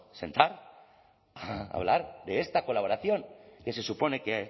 sentar a hablar de esta colaboración que se supone que